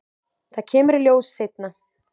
Það kemur í ljós seinna.